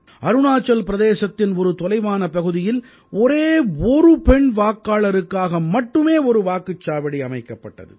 அருணாச்சல் பிரதேசத்தின் ஒரு தொலைவான பகுதியில் ஒரே ஒரு பெண் வாக்காளருக்காக மட்டுமே ஒரு வாக்குச்சாவடி அமைக்கப்பட்டது